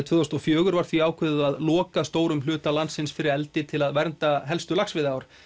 tvö þúsund og fjögur var því ákveðið að loka stórum hluta landsins fyrir eldi til að vernda helstu laxveiðiár